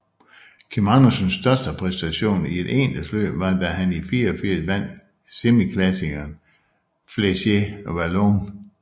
Kim Andersens største præstation i et endagsløb var da han i 1984 vandt semiklassikeren Flèche Wallonne